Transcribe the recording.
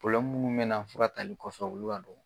munnu bɛ na fura tali kɔfɛ ulu y'a dɔ